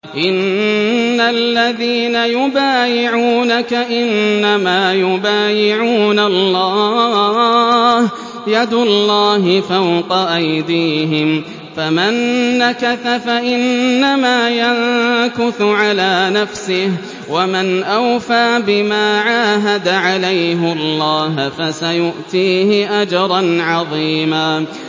إِنَّ الَّذِينَ يُبَايِعُونَكَ إِنَّمَا يُبَايِعُونَ اللَّهَ يَدُ اللَّهِ فَوْقَ أَيْدِيهِمْ ۚ فَمَن نَّكَثَ فَإِنَّمَا يَنكُثُ عَلَىٰ نَفْسِهِ ۖ وَمَنْ أَوْفَىٰ بِمَا عَاهَدَ عَلَيْهُ اللَّهَ فَسَيُؤْتِيهِ أَجْرًا عَظِيمًا